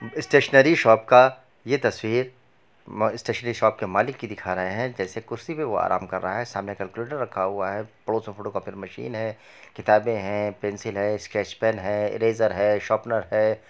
Stationery shop का ये तस्वीर म स्टेशनरी शॉप के मालिक के दिखा रहें हैं जैसे कुर्सी पे वो आराम कर रहा है सामने कैलकुलेटर रखा हुआ है पड़ोस में फोटो कोपी मशीन है किताबें है पेन्सिल है स्केच पेन है इरेज़र है शार्पनर है।